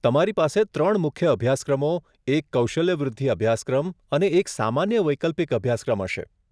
તમારી પાસે ત્રણ મુખ્ય અભ્યાસક્રમો, એક કૌશલ્ય વૃદ્ધિ અભ્યાસક્રમ અને એક સામાન્ય વૈકલ્પિક અભ્યાસક્રમ હશે.